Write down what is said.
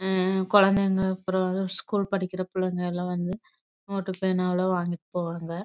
கொழைங்க school படிக்கிற கொழந்தைங்க லாம் வந்து நோட் பணலாம் வாங்கிட்டு போவாங்க